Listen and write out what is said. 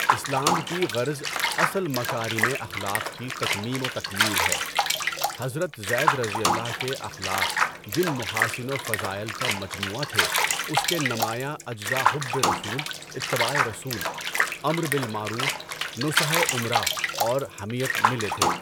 اسلام کی غرض اصل مَکارِمِ اخلاق کی تتمیم و تکمیل ہے، حضرت زیدؓ کے اخلاق جن محاسن و فضائل کا مجموعہ تھے اس کے نمایاں اجزا حُبّ رسول، اِتّباعِ رسول، امر بالمعروف، نُصحِ اُمَراء اور حمیت ملے تھے۔